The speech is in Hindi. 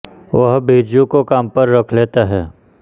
वह बिरजू को काम पर रख लेता है